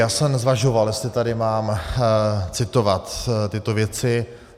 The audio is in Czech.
Já jsem zvažoval, jestli tady mám citovat tyto věci.